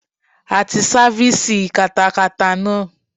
A ti sáfísì katakata náà.